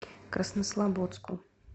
краснослободску